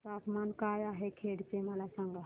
तापमान काय आहे खेड चे मला सांगा